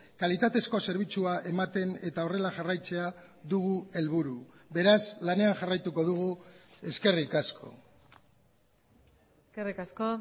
kalitatezko zerbitzua ematen eta horrela jarraitzea dugu helburu beraz lanean jarraituko dugu eskerrik asko eskerrik asko